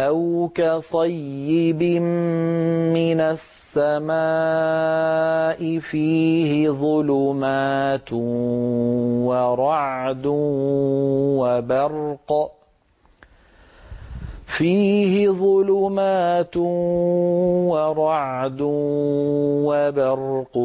أَوْ كَصَيِّبٍ مِّنَ السَّمَاءِ فِيهِ ظُلُمَاتٌ وَرَعْدٌ وَبَرْقٌ